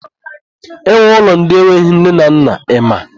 E nwere ụlọ ndị enweghị nne na nna ị ma?